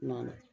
N nana